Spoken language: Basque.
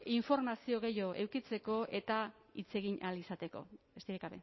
informazio gehiago edukitzeko eta hitz egin ahal izateko besterik